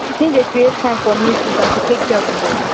him dey create time for meetings and to take care of him body